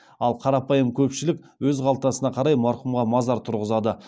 ал қарапайым көпшілік өз қалтасына қарай марқұмға мазар тұрғызады